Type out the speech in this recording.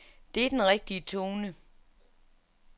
Det er den rigtige tone.